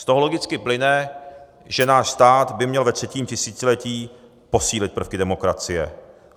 Z toho logicky plyne, že náš stát by měl ve třetím tisíciletí posílit prvky demokracie.